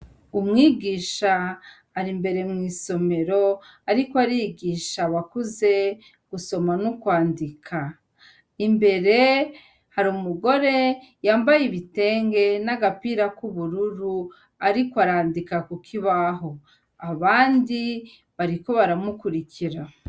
Umwigisha ari imbere mw'isomero ariko arigisha abakuze gusoma n'ukwandika imbere hari umugore yambaye ibitenge n'agapira ku bururu ariko arandika kukibaho abandi bariko baramukurikira.